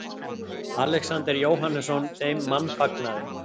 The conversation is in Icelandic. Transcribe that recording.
Alexander Jóhannesson þeim mannfagnaði.